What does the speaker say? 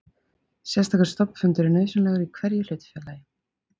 Sérstakur stofnfundur er nauðsynlegur í sérhverju hlutafélagi.